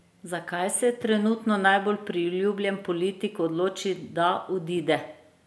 Zakaj se trenutno najbolj priljubljen politik odloči, da odide?